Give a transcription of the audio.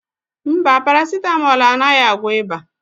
Mba, páràsitámol anaghị agwọ ịba.